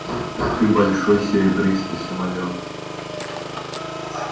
ты большой серебристый самолёт